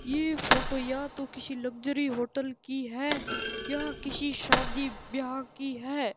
ये फोटो या तो किसी लग्जरी होटल की है या किसी शादी ब्याह की है।